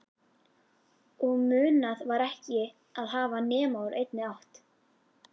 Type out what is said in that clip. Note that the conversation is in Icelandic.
Og munað var ekki að hafa nema úr einni átt